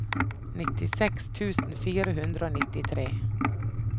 nittiseks tusen fire hundre og nittitre